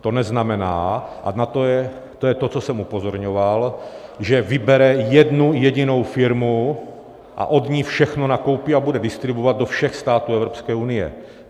To neznamená, a to je to, na co jsem upozorňoval, že vybere jednu jedinou firmu a od ní všechno nakoupí a bude distribuovat do všech států Evropské unie.